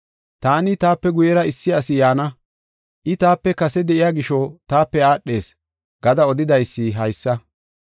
Taani, ‘Taape guyera issi asi yaana. I taape kase de7iya gisho taape aadhees’ gada odidaysi haysa.